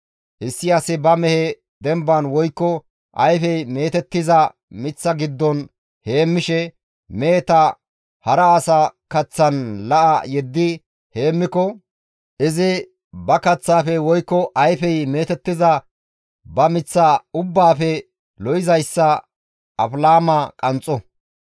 «Issi asi ba mehe demban woykko ayfey meetettiza miththa giddon heemmishe, meheta hara asa kaththan la7a yeddi heemmiko, izi ba kaththaafe woykko ayfey meetettiza ba miththa ubbaafe lo7izayssa afilaama qanxxo.